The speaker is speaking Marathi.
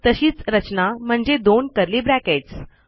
तशीच रचना म्हणजे दोन कर्ली ब्रॅकेट्स